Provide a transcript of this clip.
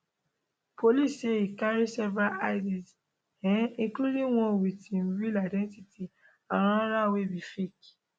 police say e carry several ids um including one wit im real identity and anoda wey be fake